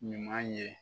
Ɲuman ye